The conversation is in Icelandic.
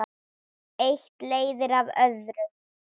Eitt leiðir af öðru.